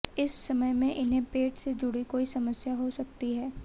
इस समय में इन्हें पेट से जुड़ी कोई समस्या हो सकती है